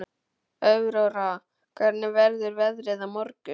Aurora, hvernig verður veðrið á morgun?